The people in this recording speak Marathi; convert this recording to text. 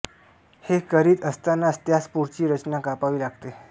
हे करीत असतांनाच त्यास पुढची रचना कापावी लागते